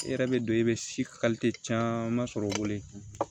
I yɛrɛ bɛ don i bɛ caman sɔrɔ